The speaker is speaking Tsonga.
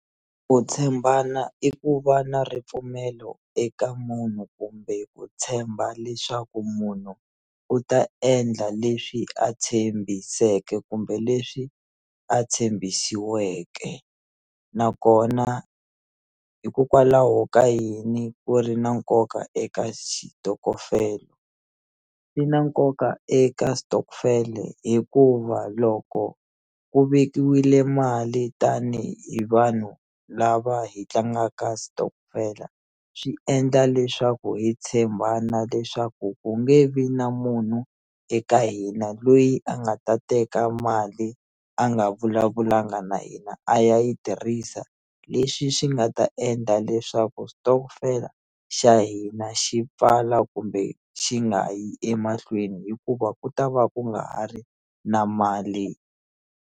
Ku tshembana i ku va na ripfumelo eka munhu kumbe ku tshemba leswaku munhu u ta endla leswi a tshembiseke kumbe leswi a tshembisiweke nakona hikokwalaho ka yini ku ri na nkoka eka xitokofela swi na nkoka eka stokvel-e hikuva loko ku vekiwile mali tanihi vanhu lava hi tlangaka stokvel-a swi endla leswaku hi tshembana leswaku ku nge vi na munhu eka hina loyi a nga ta teka mali a nga vulavulanga na hina a ya yi tirhisa leswi swi nga ta endla leswaku stokvel-a xa hina xi pfala kumbe xi nga yi emahlweni hikuva ku ta va ku nga ha ri na mali.